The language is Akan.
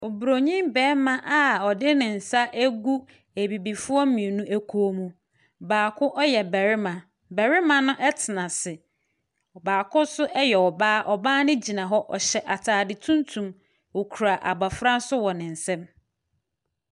Oburonin barima a ɔdene nsa agu Abibifoɔ mmienu bi kɔn mu. Baako yɛ barima. Barima no tena ase. Baako nso yɛ ɔbaa. Cbaano gyina hɔ. Ɔhyɛ atade tunyum, ɔkura abɔfra nso wɔ ne nsam.